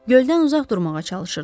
Göldən uzaq durmağa çalışırdım.